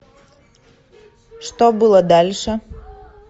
что было дальше